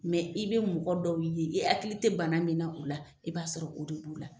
Mɛ i be mɔgɔ dɔw ye i akili te bana min na u la i b'a sɔrɔ o de b'u la